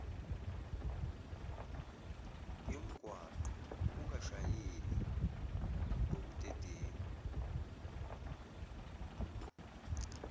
yomgwaqo ungashayeli ngobudedengu